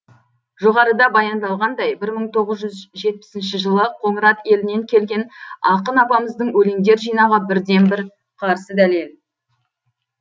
жоғарыда баяндалғандай бір мың тоғыз жүз жетпісінші жылы қоңырат елінен келген ақын апамыздың өлеңдер жинағы бірден бір қарсы дәлел